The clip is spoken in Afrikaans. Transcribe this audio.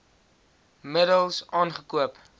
middels aangekoop t